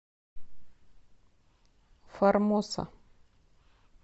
формоса